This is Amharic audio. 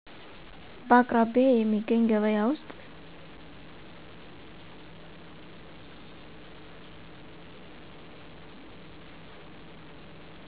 በአቅራቢያዬ የሚገኝ ገበያ ውስጥ